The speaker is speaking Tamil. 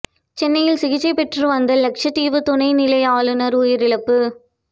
சென்னையில் சிகிச்சை பெற்று வந்த லட்சதீவு துணை நிலை ஆளுநர் உயிரிழப்பு